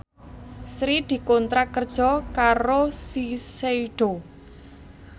Sri dikontrak kerja karo Shiseido